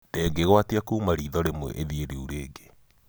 ndĩngĩgwatia kuma ritho rimwe ĩthie rĩu rĩngĩ.